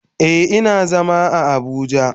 Eh, ina zama a abuja.